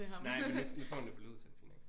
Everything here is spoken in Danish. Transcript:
Nej men nu nu får han det på lyd så det fint nok